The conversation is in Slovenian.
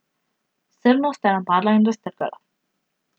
Srno sta napadla in raztrgala.